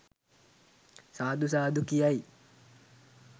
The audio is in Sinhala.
සාදු සාදු කියයි.